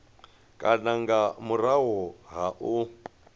kana nga murahu ha u